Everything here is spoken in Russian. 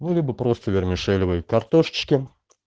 ну либо просто вермишелевой картошечки